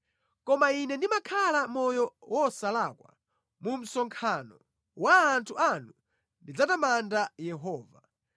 Koma ine ndimakhala moyo wosalakwa; mu msonkhano wa anthu anu ndidzatamanda Yehova.